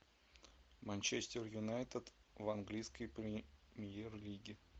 манчестер юнайтед в английской премьер лиге